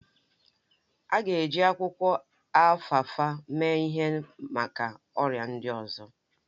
A ga-eji akwụkwọ alfalfa mee ihe maka ọrịa ndị ọzọ